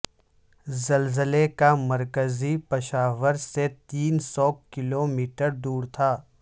زلزلے کا مرکز پشاور سے تین سو کلو میٹر دور تھا